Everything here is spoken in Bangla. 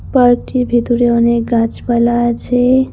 পার্কটির ভিতরে অনেক গাছপালা আছে।